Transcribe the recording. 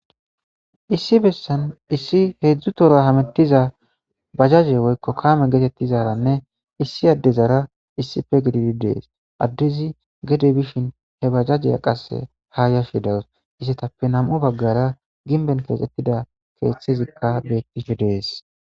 Issi bessan issi hezhzhu tohora hammettiza bajjajeynne woykko kaame gettetizaranne issi adeezara issippe giiddidi dess eddezi geede bishshin he bajajiya qasse ha yashshe deawusu izzetappe nam'u baggera gimbben kexxetida keththezi bettishe de'ess.